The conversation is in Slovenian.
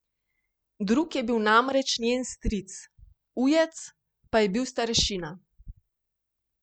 Drug je bil namreč njen stric, ujec pa je bil starešina.